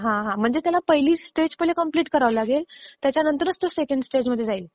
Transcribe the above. हां म्हणजे त्याला पहिली स्टेज कंप्लिट करावी लागेल त्याच्या नंतरच त्याला सेकंड स्टेज कडे जाता येईल.